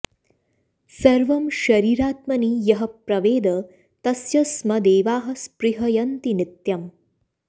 सर्वं शरीरात्मनि यः प्रवेद तस्य स्म देवाः स्पृहयन्ति नित्यम्